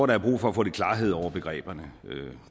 der er brug for at få lidt klarhed over begreberne